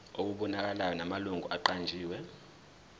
okubonakalayo namalungu aqanjiwe